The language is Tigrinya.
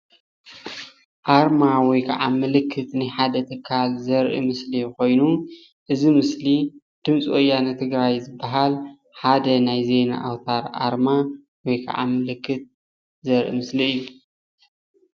ኣርማ ወይ ክዓ ምልክት ናይ ሓደ ትካል ዘርኢ ምስሊ ኮይኑ፣ እዚ ምስሊ ድምፂ ወያነ ትግራይ ዝብሃል ሓደ ናይ ዜና ኣውታር ኣርማ ወይ ክዓ ምልክት ዘርኢ ምስሊ እዩ፡፡